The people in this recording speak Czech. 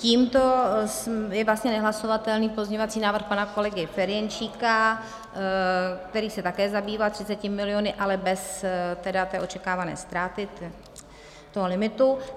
Tímto je vlastně nehlasovatelný pozměňovací návrh pana kolegy Ferjenčíka, který se také zabýval 30 miliony, ale bez tedy té očekávané ztráty, toho limitu.